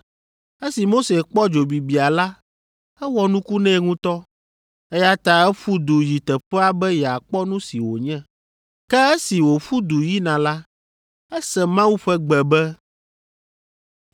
Esi Mose kpɔ dzobibia la, ewɔ nuku nɛ ŋutɔ, eya ta eƒu du yi teƒea be yeakpɔ nu si wònye. Ke esi wòƒu du yina la, ese Mawu ƒe gbe be,